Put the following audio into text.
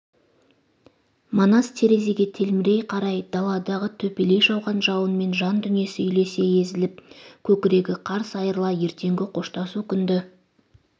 манас терезеге телмірей қарай даладағы төпелей жауған жауынмен жан дүниесі үйлесе езіліп көкірегі қарс айырыла ертеңгі қоштасу күнді